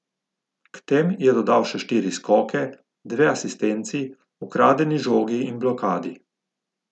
K tem je dodal še štiri skoke, dve asistenci, ukradeni žogi in blokadi.